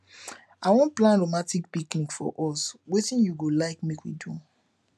i wan plan romatic picnic for us wetin you go like make we do